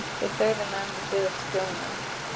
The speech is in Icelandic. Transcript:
Þeir þögðu meðan þeir biðu eftir þjóninum.